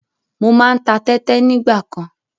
Mo máa ń ta tẹ́tẹ nígbàkan.